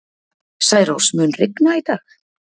Særós, mun rigna í dag?